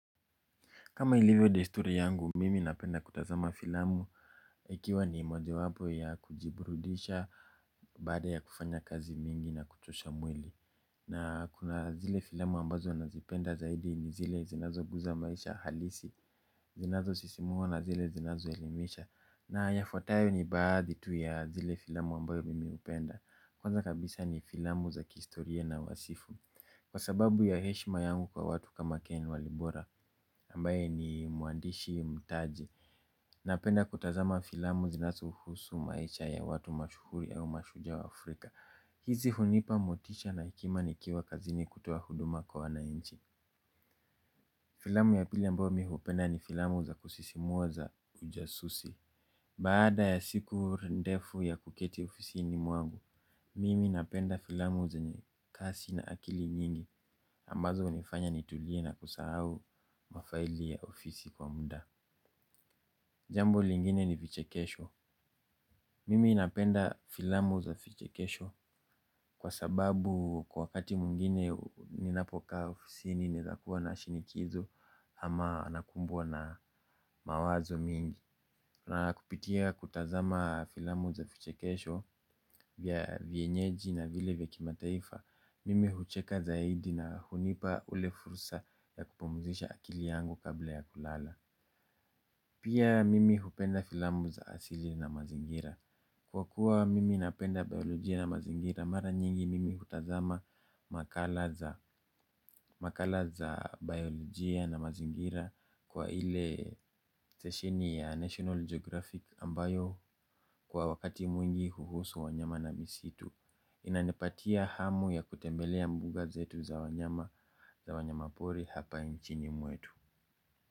Kama ilivyo desturi yangu, mimi napenda kutazama filamu, ikiwa ni mojawapo ya kujiburudisha baada ya kufanya kazi mingi na kuchosha mwili. Na kuna zile filamu ambazo nazipenda zaidi ni zile zinazoguza maisha halisi, zinazo sisimuwa na zile zinazoelimisha. Na yafuatayo ni baadhi tu ya zile filamu ambayo mimi hupenda. Kwanza kabisa ni filamu za kihistoria na wasifu. Kwa sababu ya heshima yangu kwa watu kama Ken Walibora ambaye ni mwandishi mtaji, napenda kutazama filamu zinazohusu maisha ya watu mashuhuri ya umashujaa wa Afrika. Hizi hunipa motisha na hekima nikiwa kazini kutoa huduma kwa wananchi. Filamu ya pili ambayo mimi hupenda ni filamu za kusisimua za ujasusi. Baada ya siku ndefu ya kuketi ofisini mwangu mimi napenda filamu zenye kasi na akili nyingi ambazo hunifanya nitulie na kusahau mafaili ya ofisi kwa muda. Jambo lingine ni vichekesho. Mimi napenda filamu za vichekesho kwa sababu kwa wakati mwingine ninapokaa ofisini ninakuwa na shinikizo. Ama nakumbwa na mawazo mingi. Na kupitia kutazama filamu za vichekesho vya vienyeji na vile vya kimataifa. Mimi hucheka zaidi na hunipa ule fursa wa kupumuzisha akili yangu kabla ya kulala. Pia mimi hupenda filamu za asili na mazingira kwa kuwa mimi napenda biolojia na mazingira, mara nyingi mimi hutazama makala za biolojia na mazingira kwa ile seshini ya National Geographic ambayo kwa wakati mwingi huhusu wanyama na misitu. Inanipatia hamu ya kutembelea mbuga zetu za wanyama za wanyama pori hapa nchini mwetu.